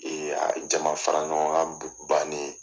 Ee a jama fara ɲɔgɔn kan bannen ye.